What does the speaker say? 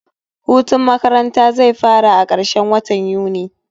Hutun makaranata zai fara a karshen watan Yuni